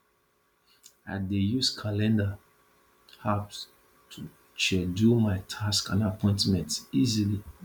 i dey use calendar apps to schedule my tasks and appointments easily